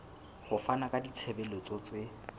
ho fana ka ditshebeletso tse